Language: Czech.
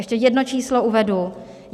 Ještě jedno číslo uvedu.